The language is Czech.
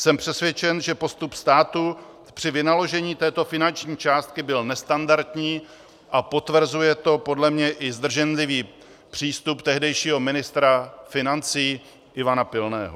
Jsem přesvědčen, že postup státu při vynaložení této finanční částky byl nestandardní, a potvrzuje to podle mě i zdrženlivý přístup tehdejšího ministra financí Ivana Pilného.